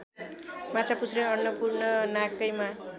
माछापुच्छ्रे अन्नपूर्ण नाकैमा